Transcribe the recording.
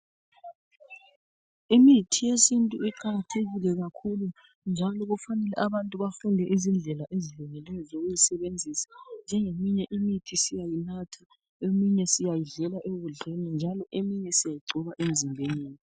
Imithi yesintu iqakathekile kakhulu njalo kufanele abantu bafunde izindlela ezilungileyo zokuyisebenzisa. Njengeminye imithi siyayinatha, eminye siyayidlela ekudleni njalo eminye siyayigcoba emzimbeni.